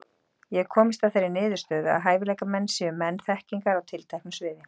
Ég hef komist að þeirri niðurstöðu, að hæfileikamenn séu menn þekkingar á tilteknu sviði.